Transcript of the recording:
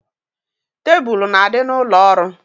Tebulu na-adị n'ụlọ ọrụ.